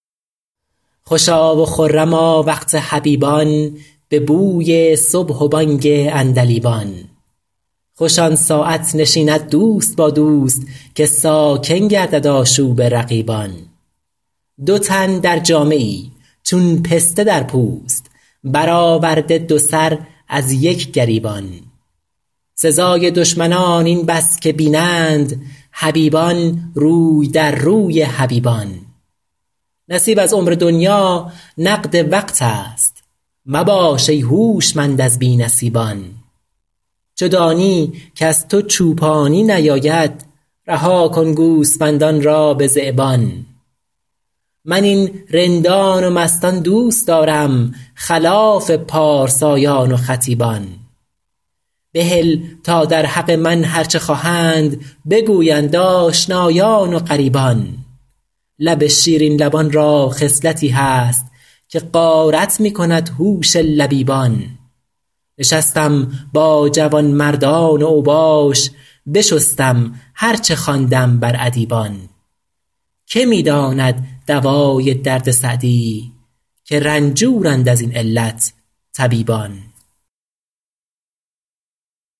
خوشا و خرما وقت حبیبان به بوی صبح و بانگ عندلیبان خوش آن ساعت نشیند دوست با دوست که ساکن گردد آشوب رقیبان دو تن در جامه ای چون پسته در پوست برآورده دو سر از یک گریبان سزای دشمنان این بس که بینند حبیبان روی در روی حبیبان نصیب از عمر دنیا نقد وقت است مباش ای هوشمند از بی نصیبان چو دانی کز تو چوپانی نیاید رها کن گوسفندان را به ذیبان من این رندان و مستان دوست دارم خلاف پارسایان و خطیبان بهل تا در حق من هر چه خواهند بگویند آشنایان و غریبان لب شیرین لبان را خصلتی هست که غارت می کند هوش لبیبان نشستم با جوانمردان اوباش بشستم هر چه خواندم بر ادیبان که می داند دوای درد سعدی که رنجورند از این علت طبیبان